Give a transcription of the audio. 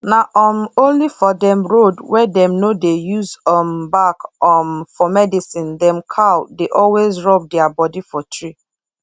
na um only for dem road wey dem no dey use um bark um for medicine dem cow dey always rub dia body for tree